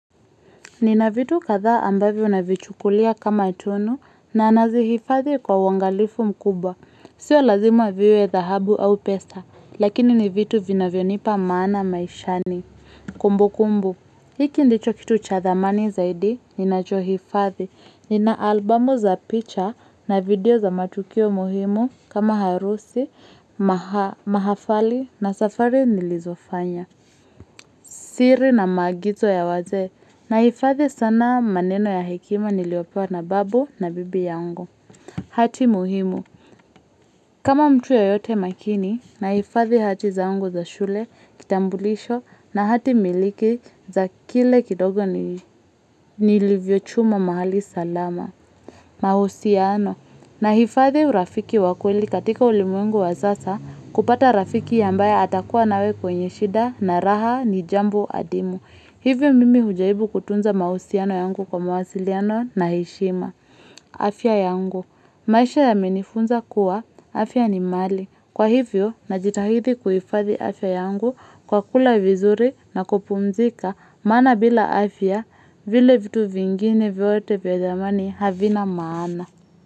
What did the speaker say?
Nina vitu katha ambavo navichukulia kama tunu na nazi hifadhi kwa wangalifu mkubwa. Sio lazimu viwe dahabu au pesa, lakini ni vitu vina vionipa maana maishani. Kumbu kumbu, hiki ndicho kitu cha thamani zaidi, ninacho hifadhi. Nina albumu za picha na video za matukio muhimu kama harusi, mahafali na safari nilizofanya. Siri na magizo ya waze. Naifadhi sana maneno ya hekima niliopewa na babu na bibi yangu. Hati muhimu. Kama mtu yo yote makini, naifadhe hati zangu za shule kitambulisho na hati miliki za kile kidogo nilivyo chuma mahali salama. Mahusiano. Naifadhe urafiki wakweli katika ulimuengu wasasa kupata rafiki yambaye atakuwa nawe kwenye shida na raha nijambo adimu. Hivyo mimi hujaibu kutunza mausiano yangu kwa mawasiliano na heshima. Afia yangu. Maisha ya menifunza kuwa, afia ni mali. Kwa hivyo, najitahidi kuifadhi afia yangu kwa kula vizuri na kupumzika mana bila afia vile vitu vingine vyote vya thamani havina maana.